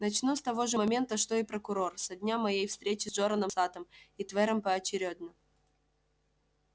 начну с того же момента что и прокурор со дня моей встречи с джораном саттом и твером поочерёдно